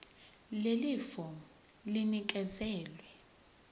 leli fomu linikezelwe